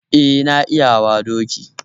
Eh, na iya hawa doki